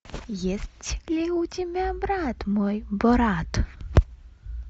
есть ли у тебя брат мой борат